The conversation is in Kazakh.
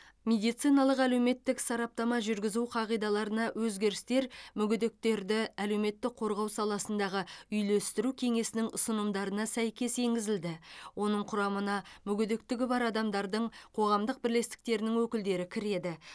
медициналық әлеуметтік сараптама жүргізу қағидаларына өзгерістер мүгедектерді әлеуметтік қорғау саласындағы үйлестіру кеңесінің ұсынымдарына сәйкес енгізілді оның құрамына мүгедектігі бар адамдардың қоғамдық бірлестіктерінің өкілдері кіреді